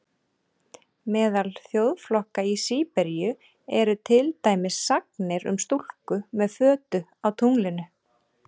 Meðal þjóðflokka í Síberíu eru til dæmis sagnir um stúlku með fötu á tunglinu.